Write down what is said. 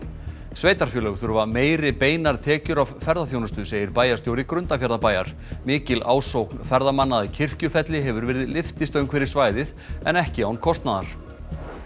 sveitarfélög þurfa meiri beinar tekjur af ferðaþjónustu segir bæjarstjóri Grundarfjarðarbæjar mikil ásókn ferðamanna að Kirkjufelli hefur verið lyftistöng fyrir svæðið en ekki án kostnaðar